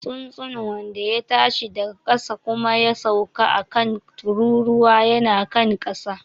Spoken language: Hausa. Tsuntsun wanda ya tashi daga ƙasa kuma ya sauka a kan tururuwa yana kan ƙasa.